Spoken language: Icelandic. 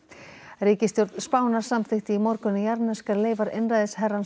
ríkisstjórn Spánar samþykkti í morgun að jarðneskar leifar einræðisherrans